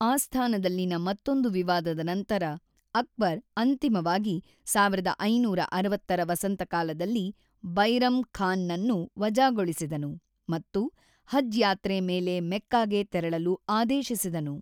ಆಸ್ಥಾನದಲ್ಲಿನ ಮತ್ತೊಂದು ವಿವಾದದ ನಂತರ, ಅಕ್ಬರ್ ಅಂತಿಮವಾಗಿ ೧೫೬೦ರ ವಸಂತಕಾಲದಲ್ಲಿ ಬೈರಮ್ ಖಾನ್ ನನ್ನು ವಜಾಗೊಳಿಸಿದನು ಮತ್ತು ಹಜ್ ಯಾತ್ರೆ ಮೇಲೆ ಮೆಕ್ಕಾಗೆ ತೆರಳಲು ಆದೇಶಿಸಿದನು.